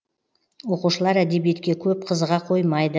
оқушылар әдебиетке көп қызыға қоймайды